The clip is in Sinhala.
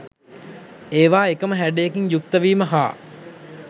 ඒවා එකම හැඩයකින් යුක්ත වීම හා